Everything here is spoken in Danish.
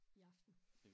I aften